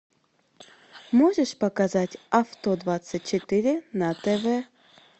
можешь показать авто двадцать четыре на тв